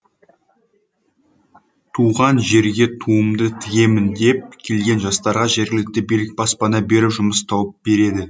туған жерге туымды тігемін деп келген жастарға жергілікті билік баспана беріп жұмыс тауып береді